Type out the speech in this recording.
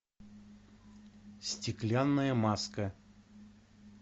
стеклянная маска